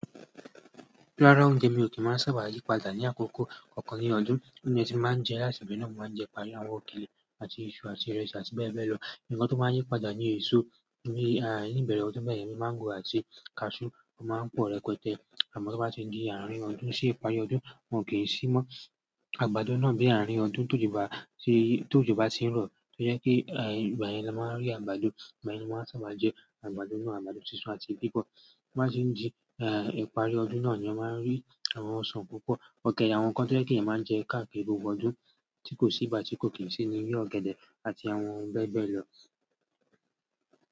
Rára oúnjẹ mi ò kí máa sábà yí padà ní àkókò kankan ní ọdún. Bi mo dẹ́ ti máa ń jẹ rice, bi mo máa ń jẹ pẹ̀lú àwọn òkèlè àti iṣu àti ìrẹsì àti bẹ́ẹ̀ bẹ́ẹ̀ lọ. Ǹkan tó máa yí padà ni èso ní ìbẹ̀rẹ̀ ọdún bẹ́ẹ̀ yẹn bíi máńgò àti kaṣú tó máa ń pọ̀ rẹpẹtẹ. Àmọ́ tí o bá ti di àárín ọdún sí ìparí ọdún, wọn kì í sì mọ́, àgbàdo náà bí àárín ọdún tójo ba tí tójúba tì ń rọ̀, tó jẹ́ pe, ìgbà yẹn ni a máa rí àgbàdo. Ìgbà yẹn ni a ma n sábà jẹ àgbàdo náà, àgbàdo sísun àti bíbọ. To ba se di ìparí ọdún náà, eeyan ma n ri àwọn osan púpọ̀. Ọ̀gẹ̀dẹ̀ àwọn n kan to yẹ́ kì eeyan máa ń jẹ káàkiri gbogbo ọdún tí kò sí ìgbá tí kò kì í sì ni bí ọ̀gẹ̀dẹ̀ àti àwọn ohun bẹ́ẹ̀ bẹ́ẹ̀ lọ.